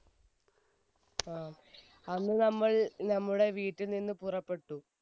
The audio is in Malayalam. ങ്ഹാ, അന്ന് നമ്മൾ നമ്മുടെ വീട്ടിൽ നിന്നും പുറപ്പെട്ടു